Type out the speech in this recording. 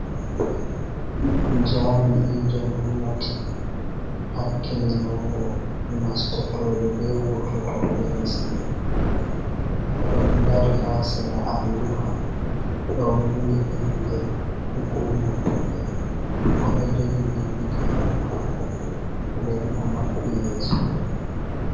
Jami'ijo gomnati hakkilinowo nastotoɓe be wurtotoɓe lesdi, oɗon dari ha sera alluha ɗo windi inde hukuma maɓɓe, oɗo jogi bindiigaru mako, nden o maɓɓi yeso mako.